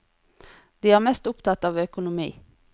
De er mest opptatt av økonomi.